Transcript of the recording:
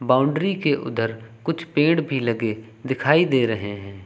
Boundary के उधर कुछ पेड़ भी लगे दिखाई दे रहे हैं।